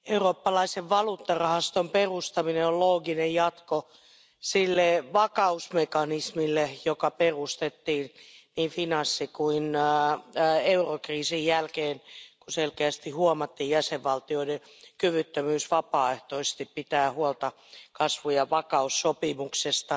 Arvoisa puhemies, eurooppalaisen valuuttarahaston perustaminen on looginen jatko sille vakausmekanismille, joka perustettiin finanssi ja eurokriisin jälkeen, kun selkeästi huomattiin jäsenvaltioiden kyvyttömyys vapaaehtoisesti pitää huolta kasvu ja vakaussopimuksesta